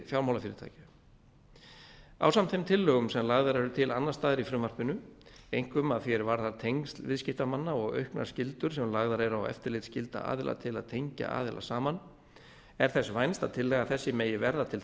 fjármálafyrirtækja ásamt þeim tillögum sem lagðar eru til annars staðar í frumvarpinu einkum að því er varðar tengsl viðskiptamanna og auknar skyldur sem lagðar eru á eftirlitsskylda aðila til að tengja aðila saman er þess vænst að tillaga þessi megi verða til